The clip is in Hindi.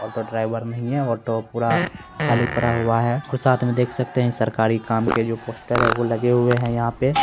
ऑटो ड्राइवर नहीं है ऑटो पूरा खाली पड़ा हुआ है और साथ में देख सकते हैं यह सरकारी काम के जो पोस्टर है वो लगे हुए हैं यहां पे।